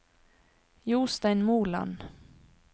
Jostein Moland